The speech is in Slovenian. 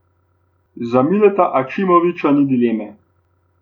Za Mileta Ačimovića ni dileme.